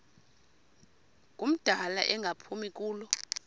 ngumdala engaphumi kulo